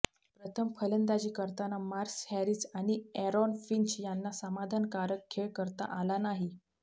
प्रथम फलंदाजी करताना मार्कस हॅरिस आणि अॅरोन फिंच यांना समाधानकारक खेळ करता आला नाही